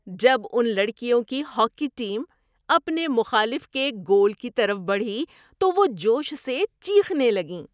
جب ان لڑکیوں کی ہاکی ٹیم اپنے مخالف کے گول کی طرف بڑھی تو وہ جوش سے چیخنے لگیں۔